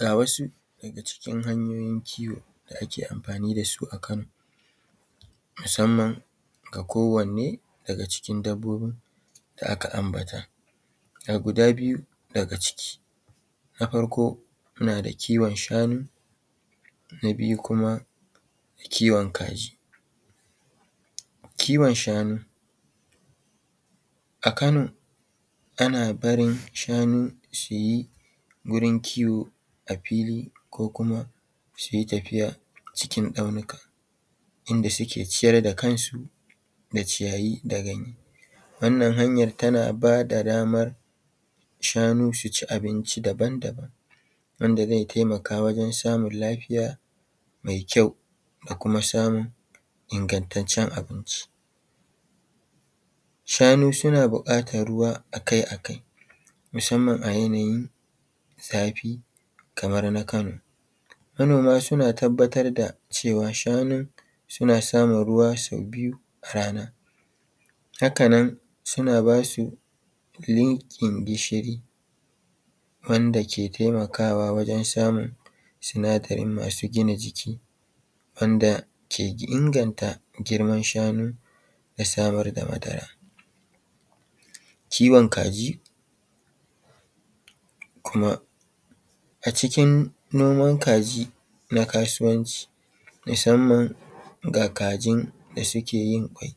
Ga wasu daga cikin hanyoyin kiwo da a ke amfani da su a Kano musamman ga kowanne daga cikin dabbobin da aka ambata, ga guda biyu daga ciki. Na farko muna da kiwon shanu, na biyu kuma kiwon kaji. Kiwon shanu a Kano ana barin shanu su yi wurin kiwo a fili ko kuma su yi tafiya cikin tsaunuka inda suke ciyar da kansu da ciyayi da ganye. Wannan hanyar tana bada banar shanu su ci abinci daban-daban, wanda zai taimaka wajen samun lafiya mai kyau da kuma samun ingantaccen abinci. Shanu suna buƙatar ruwa akai-akai musamman a yanayin zafi kamar na kano. Manoma suna tabbatar da cewa shanun suna samun ruwa sau biyu a rana. Haka nan suna basu linkin gishiri wanda ke taimakawa wajen samun sinadari masu gina jiki wanda ke inganta girman shanu da samar da madara. Kiwon kaji, kuma, a cikin noman kaji na kasuwanci musamman ga kajin da suke yin ƙwai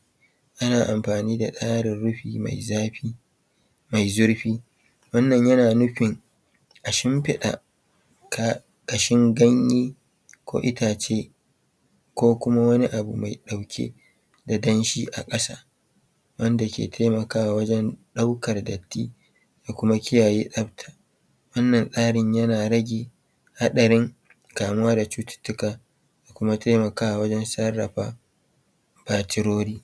ana amfani da tsarin rufi mai zafi, mai zurfi, wannan yana nufin a shumfiɗa ƙashin ganye ko itace ko kuma wani abu mai ɗauke da danshi a ƙasa wanda ke taimakawa wajen ɗaukar datti da kuma kiyaye tsabta, wannan tsarin yana rage haɗarin kamuwa da cututtuka da kuma taimakawa wajen sarrafa batirori.